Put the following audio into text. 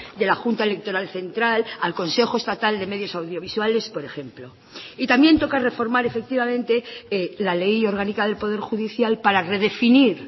de la junta electoral central al consejo estatal de medios audiovisuales por ejemplo y también toca reformar efectivamente la ley orgánica del poder judicial para redefinir